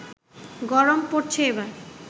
গরম পড়েছে এবার